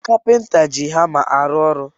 Kapinta ji hama arụ ọrụ